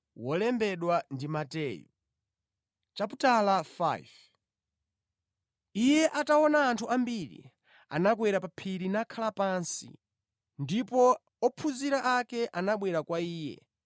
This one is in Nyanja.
Iye ataona anthu ambiri, anakwera pa phiri nakhala pansi. Ndipo ophunzira ake anabwera kwa Iye,